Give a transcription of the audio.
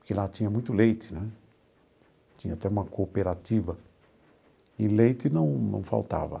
porque lá tinha muito leite né, tinha até uma cooperativa, e leite não não faltava.